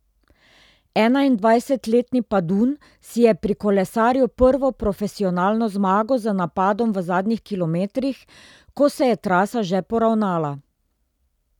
Enaindvajsetletni Padun si je prikolesaril prvo profesionalno zmago z napadom v zadnjih kilometrih, ko se je trasa že poravnala.